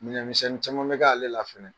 Miiɛn misɛnnin caman bɛ k'ale fɛnɛ.